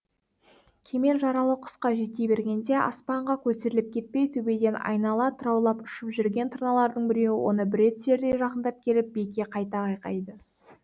кемел жаралы құсқа жете бергенде аспанға көтеріліп кетпей төбеден айнала тыраулап ұшып жүрген тырналардың біреуі оны бүре түсердей жақындап келіп биікке қайта қайқайды